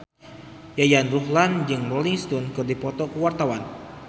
Yayan Ruhlan jeung Rolling Stone keur dipoto ku wartawan